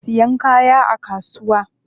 Ana siyan kaya a kasuwa.